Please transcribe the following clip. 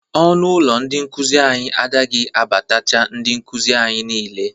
Ọnụ ụlọ ndị nkụzị anyị adaghi abatacha ndị nkụzị anyị niile.